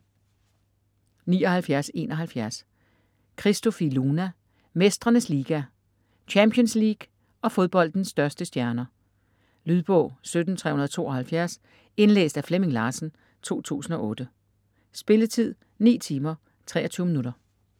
79.71 Christofi, Luna: Mestrenes liga: Champions League og fodboldens største stjerner Lydbog 17372 Indlæst af Flemming Larsen, 2008. Spilletid: 9 timer, 23 minutter.